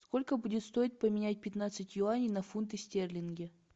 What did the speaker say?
сколько будет стоить поменять пятнадцать юаней на фунты стерлинги